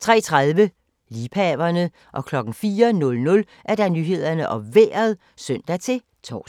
03:30: Liebhaverne 04:00: Nyhederne og Vejret (søn-tor)